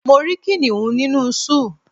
Mo rí kìnìún nínú Zúù